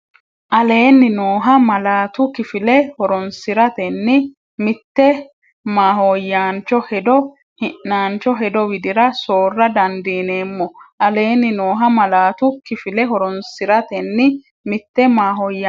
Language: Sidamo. Aleenni nooha malaatu kifile horoonsi’ratenni mitte mahooyyaancho hedo hi’naancho hedo widira soorra dandiineemmo Aleenni nooha malaatu kifile horoonsi’ratenni mitte mahooyyaancho.